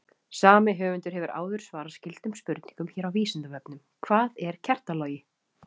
Sami höfundur hefur áður svarað skyldum spurningum hér á Vísindavefnum: Hvað er kertalogi?